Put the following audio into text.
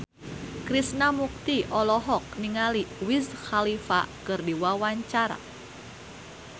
Krishna Mukti olohok ningali Wiz Khalifa keur diwawancara